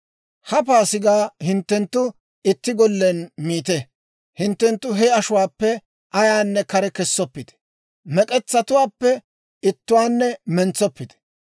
«Ha Paasigaa hinttenttu itti gollen miite; hinttenttu he ashuwaappe ayaanne kare kessoppite. Mek'etsatuwaappe ittuwaanne mentsoppite.